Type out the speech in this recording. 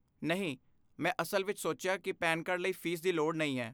ਨਹੀਂ, ਮੈਂ ਅਸਲ ਵਿੱਚ ਸੋਚਿਆ ਕਿ ਪੈਨ ਕਾਰਡ ਲਈ ਫ਼ੀਸ ਦੀ ਲੋੜ ਨਹੀਂ ਹੈ